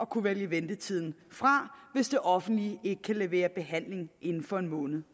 kunne vælge ventetiden fra hvis det offentlige ikke kan levere behandling inden for en måned